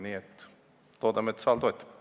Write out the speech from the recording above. Nii et loodame, et saal seda toetab.